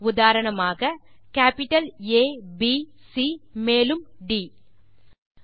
உதாரணமாக கேப்பிட்டல் ஆ ப் சி மேலும் ட்